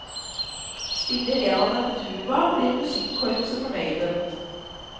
Spiller en av dem tuba, blir musikkorpset fornøyde.